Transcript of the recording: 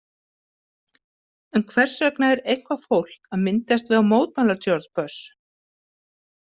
En hvers vegna er eitthvað fólk að myndast við að mótmæla George Bush?